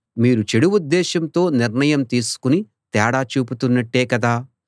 మీరు చెడు ఉద్దేశంతో నిర్ణయం తీసుకుని తేడా చూపుతున్నట్టే కదా